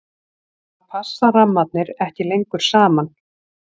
þá passa rammarnir ekki lengur saman